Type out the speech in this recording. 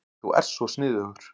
Þú ert svo sniðugur.